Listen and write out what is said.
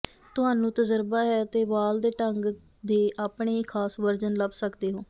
ਤੁਹਾਨੂੰ ਤਜਰਬਾ ਹੈ ਅਤੇ ਵਾਲ ਦੇ ਢੰਗ ਦੇ ਆਪਣੇ ਹੀ ਖਾਸ ਵਰਜਨ ਲੱਭ ਸਕਦੇ ਹੋ